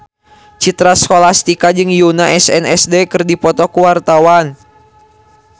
Citra Scholastika jeung Yoona SNSD keur dipoto ku wartawan